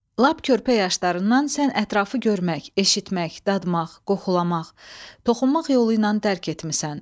Lap körpə yaşlarından sən ətrafı görmək, eşitmək, dadmaq, qoxulamaq, toxunmaq yolu ilə dərk etmisən.